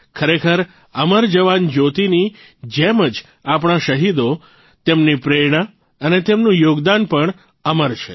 ખરેખર અમર જવાન જયોતિની જેમ જ આપણા શહીદો તેમની પ્રેરણા અને તેમનું યોગદાન પણ અમર છે